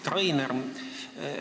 Hea Rainer!